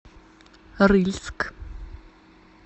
рыльск